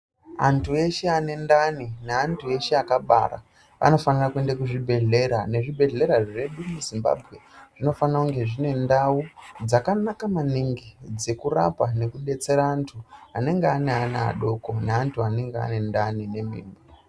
Antu eshe ane ndani neantu ese akabara anofanire kuende kuzvibhedhlera. Nezvibhedhlera zvedu muzimbambwe zvinofana kunge zvine ndau dzakanaka maningi dzekurapa nekubetsera antu anenge anaana adoko neantu anenge ane ndani nemimba.